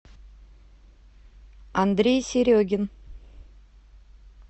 андрей серегин